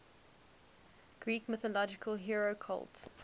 greek mythological hero cult